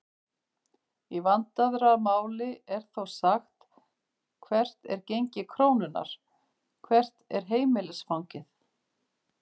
Í vandaðra máli er þó sagt hvert er gengi krónunnar?, hvert er heimilisfangið?